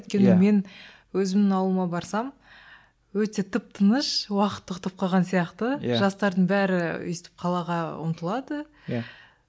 өйткені мен өзімнің ауылыма барсам өте тып тыныш уақыт тоқтап қалған сияқты жастардың бәрі өстіп қалаға ұмтылады